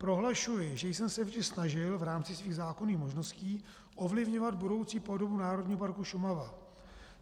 Prohlašuji, že jsem se vždy snažil v rámci svých zákonných možností ovlivňovat budoucí podobu Národního parku Šumava.